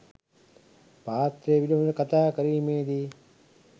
පාත්‍රය පිළිබඳ කතා කිරීමේදී